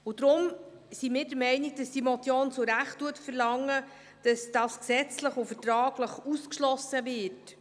Deshalb sind wir der Meinung, diese Motion verlange zu Recht, dass das gesetzlich und vertraglich ausgeschlossen wird.